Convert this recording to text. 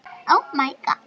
Hann sem ég elskaði mest.